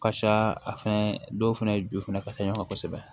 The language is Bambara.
Ka ca a fɛnɛ dɔw fɛnɛ ju fɛnɛ ka ca ɲɔgɔn kan kosɛbɛ